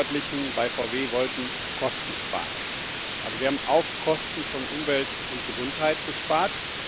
Die Verantwortlichen bei VW wollten Kosten sparen, aber sie haben auf Kosten von Umwelt und Gesundheit gespart.